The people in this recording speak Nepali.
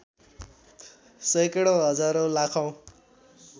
सैकडौँ हजारौँ लाखौँ